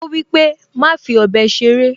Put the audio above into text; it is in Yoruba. Ó wípé, "Má fi ọ̀bẹ ṣeré"